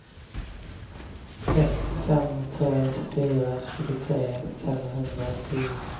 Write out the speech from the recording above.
ett fem tre fyra tjugotre femhundratio